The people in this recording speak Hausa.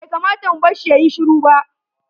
Bai kamata mu barshi yayi shiru ba.